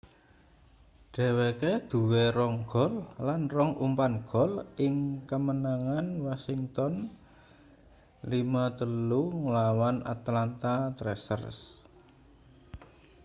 dheweke duwe 2 gol lan 2 umpan gol ing kamenangan washington 5-3 nglawan atlanta thrashers